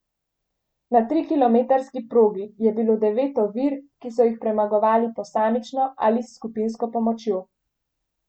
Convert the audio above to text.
Na trikilometrski progi je bilo devet ovir, ki so jih premagovali posamično ali s skupinsko pomočjo.